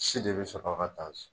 bɛ sɔrɔ ka